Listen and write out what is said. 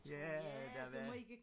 Ja der var